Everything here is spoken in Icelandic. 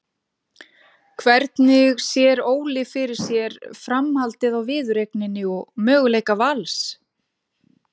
Hvernig sér Óli fyrir sér framhaldið á viðureigninni og möguleika Vals?